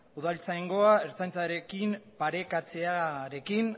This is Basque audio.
udaltzaingoa ertzaintzaren parekatzearekin